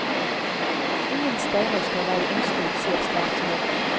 Ingen steiner skal være usnudd, sier statsråden.